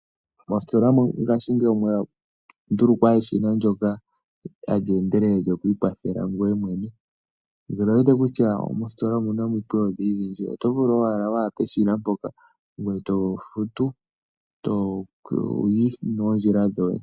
Moositola ngashingeyi omwa ndulukwa eshina ndjoka hali endelele, ndjono lyoku ikwathela ngoye mwene nande owu wete kutya mositola omuna omikweyo ondhindji dhindji oto vulu owala waya peshina mpoka ngoye tofutu etoyi noondjila ndhoye.